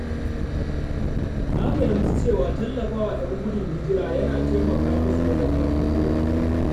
Na fahimci cewa tallafawa ‘yan gudun hijira yana taimaka musu wajen farfaɗowa.